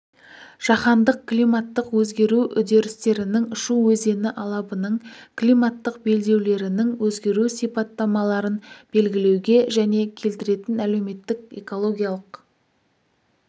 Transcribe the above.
жаһандық климаттық өзгеру үдерістерінің шу өзені алабының климаттық белдеулерінің өзгеру сипаттамаларын белгілеуге және келтіретін әлеуметтік экологиялық